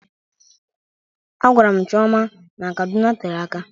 A gwara m Chioma n'Kaduna tere aka